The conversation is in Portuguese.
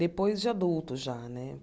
Depois de adulto já, né?